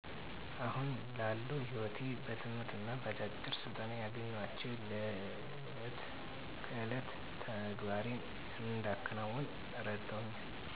አሁን ላለው ሕይወቴ በትምህርትና በአጫጭር ስልጠና ያገኘኋቸው ለዕለት ከዕለት ተግባሬን እንዳከናውን እረድተውኛል